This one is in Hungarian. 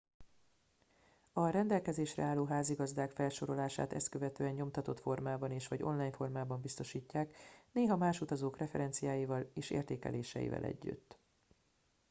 a rendelkezésre álló házigazdák felsorolását ezt követően nyomtatott formában és/vagy online formában biztosítják néha más utazók referenciáival és értékeléseivel együtt